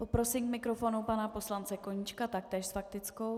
Poprosím k mikrofonu pana poslance Koníčka, taktéž s faktickou.